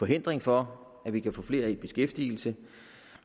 hindring for at vi kan få flere i beskæftigelse